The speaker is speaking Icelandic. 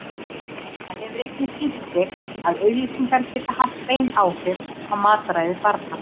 Það hefur einnig sýnt sig að auglýsingar geta haft bein áhrif á mataræði barna.